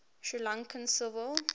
sri lankan civil